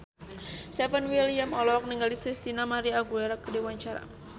Stefan William olohok ningali Christina María Aguilera keur diwawancara